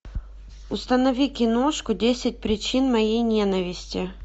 установи киношку десять причин моей ненависти